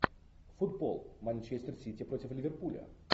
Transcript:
футбол манчестер сити против ливерпуля